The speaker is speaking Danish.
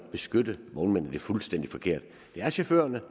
at beskytte vognmændene er fuldstændig forkert det er chaufførerne